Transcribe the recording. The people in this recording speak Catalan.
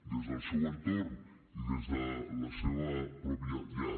des del seu entorn i des de la seva pròpia llar